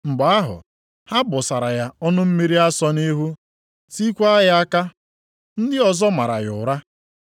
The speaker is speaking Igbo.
Mgbe ahụ, ha gbụsara ya ọnụ mmiri asọ nʼihu, tiekwa ya aka. Ndị ọzọ maara ya ụra,